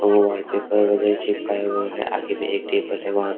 Wallpaper वगैरह चिपकाया हुआ है आगे एक टेबल है वहां पे और।